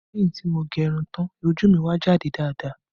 Lẹ́yìn tí mo gẹ irun tán, ojú mi wá jáde dáadáa